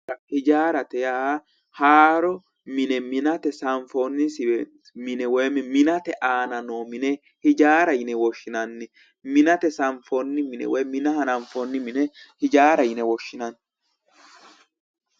Hijaarate yaa haaro mine minate sanfoonni mine woyiimmi minate aana noo mine hijaara yine woshshinanni minate sanfoonni mine woyi mina hananfoonni mine hijaara yine woshshinanni